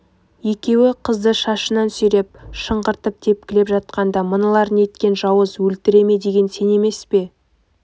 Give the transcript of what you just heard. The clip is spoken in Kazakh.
екеуі қызды шашынан сүйреп шыңғыртып тепкілеп жатқанда мыналар неткен жауыз өлтіре ме деген сен емес пе